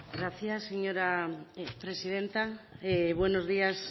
gracias señora presidenta buenos días